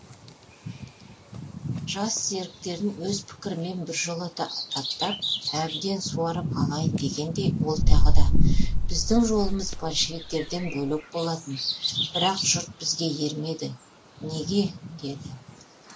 жас серіктерін өз пікірімен біржолата таптап әбден суарып алайын дегендей ол тағы да біздің жолымыз большевиктерден бөлек болатын бірақ жұрт бізге ермеді неге деді